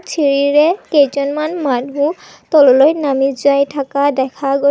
চিৰিৰে কেইজনমান মানুহ তললৈ নামি যায় থকা দেখা গৈছ--